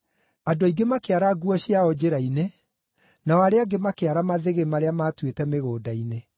Andũ aingĩ makĩara nguo ciao njĩra-inĩ, nao arĩa angĩ makĩara mathĩgĩ marĩa maatuĩte mĩgũnda-inĩ.